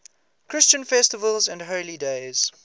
christian festivals and holy days